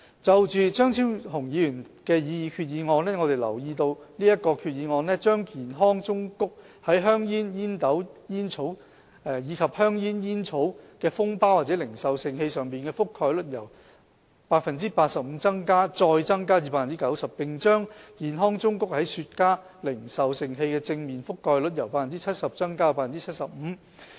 就張超雄議員提出的擬議決議案，我們留意到這項決議案把健康忠告在香煙、煙斗煙草及香煙煙草的封包或零售盛器上的覆蓋率由 85% 再增加至 90%， 並把健康忠告在雪茄零售盛器的正面的覆蓋率由 70% 增加至 75%。